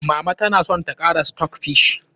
Mama ta na son ta kara kara stockfish.